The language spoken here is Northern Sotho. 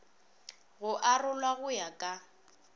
go arolwa go ya ka